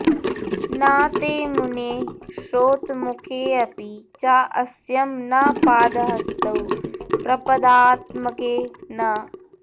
न ते मुने श्रोत्रमुखेऽपि चास्यं न पादहस्तौ प्रपदात्मके न